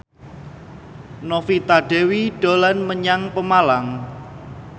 Novita Dewi dolan menyang Pemalang